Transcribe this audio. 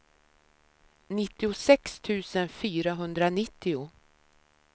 nittiosex tusen fyrahundranittio